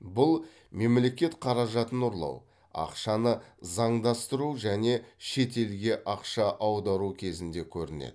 бұл мемлекет қаражатын ұрлау ақшаны заңдастыру және шетелге ақша аудару кезінде көрінеді